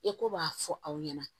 I ko b'a fɔ aw ɲɛna